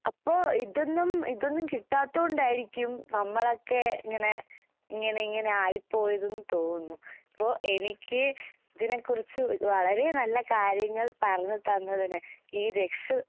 അപ്പൊ ഇതൊന്നും ഇതൊന്നും കിട്ടാത്ത കൊണ്ടായിരിക്കും നമ്മളൊക്കെ ഇങ്ങനെ ഇങ്ങനെയിങ്ങനെ ആയിപ്പോയതെന്ന് തോന്നുന്നു. അപ്പൊ എനിക്ക് ഇതിനെക്കുറിച്ച് വളരെ നല്ല കാര്യങ്ങൾ പറഞ്ഞ് തന്നതിന് ഈ രക്ഷ